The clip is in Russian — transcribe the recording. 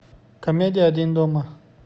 комедия один дома